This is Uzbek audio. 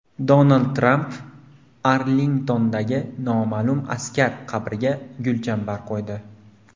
Donald Tramp Arlingtondagi Noma’lum askar qabriga gulchambar qo‘ydi.